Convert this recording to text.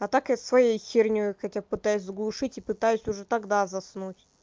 а так я своей херней хотя б пытаюсь заглушить и пытаюсь уже тогда заснуть